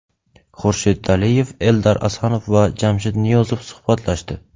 Xurshid Daliyev, Eldar Asanov va Jamshid Niyozov suhbatlashdi.